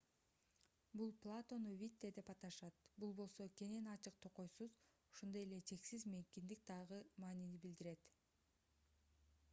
бул платону видде деп аташат бул болсо кенен ачык токойсуз ошондой эле чексиз мейкиндик деген маанини билдирет